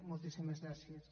moltíssimes gràcies